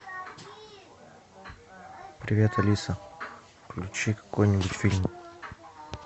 привет алиса включи какой нибудь фильм